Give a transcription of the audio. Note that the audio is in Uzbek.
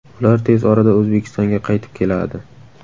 Ular tez orada O‘zbekistonga qaytib keladi.